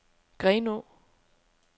Grenaa